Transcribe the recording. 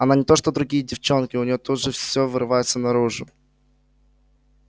она не то что другие девчонки у нее тут же все вырывается наружу